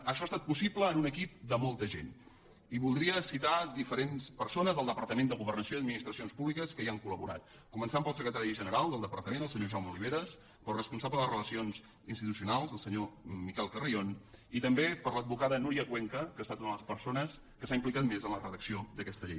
això ha estat possible amb un equip de molta gent i voldria citar diferents persones del departament de governació i administracions públiques que hi han col·laborat començant pel secretari general del departament el senyor jaume oliveras el responsable de relacions institucionals el senyor miquel carrión i també l’advocada núria cuenca que ha estat una de les persones que s’ha implicat més en la redacció d’aquesta llei